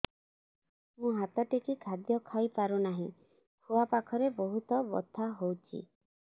ମୁ ହାତ ଟେକି ଖାଦ୍ୟ ଖାଇପାରୁନାହିଁ ଖୁଆ ପାଖରେ ବହୁତ ବଥା ହଉଚି